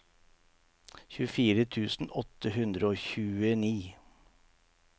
tjuefire tusen åtte hundre og tjueni